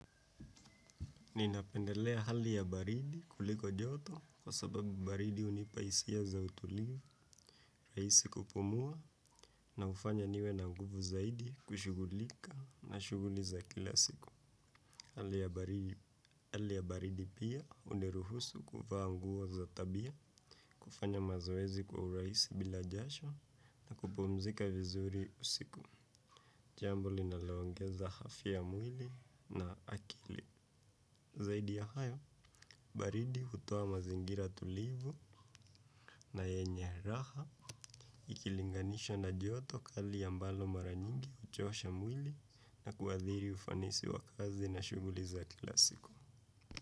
Ninapendelea hali ya baridi kuliko joto kwa sababu baridi hunipa hisia za utulivu, rahisi kupumua na hufanya niwe na nguvu zaidi kushugulika na shuguliza kila siku. Hali ya baridi pia huniruhusu kuvaa nguo za tabia kufanya mazoezi kwa urahisi bila jasho na kupumzika vizuri usiku jambo linalo ongeza afya ya mwili na akili zaidi ya haya baridi hutoa mazingira tulivu na yenye raha ikilinganishwa na joto hali ya mbalo mara nyingi huchosha mwili na kuathiri ufanisi wa kazi na shughuli za kila siku.